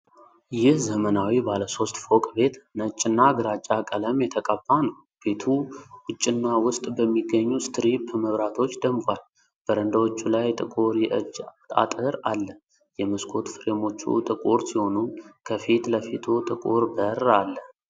ይህ ዘመናዊ ባለ ሦስት ፎቅ ቤት ነጭና ግራጫ ቀለም የተቀባ ነው። ቤቱ ውጭና ውስጥ በሚገኙ ስትሪፕ መብራቶች ደምቋል፤ በረንዳዎቹ ላይ ጥቁር የእጅ አጥር አለ። የመስኮት ፍሬሞቹ ጥቁር ሲሆኑ፣ ከፊት ለፊቱ ጥቁር በር አለ።